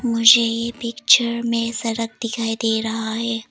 मुझे ये पिक्चर में सड़क दिखाई दे रहा है।